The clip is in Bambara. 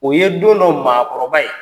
O ye don dɔ maakɔrɔba ye.